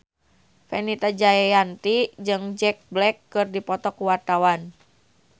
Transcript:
Fenita Jayanti jeung Jack Black keur dipoto ku wartawan